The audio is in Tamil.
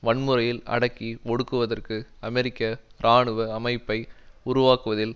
வன்முறையில் அடக்கி ஒடுக்குவதற்கு அமெரிக்க இராணுவ அமைப்பை உருவாக்குவதில்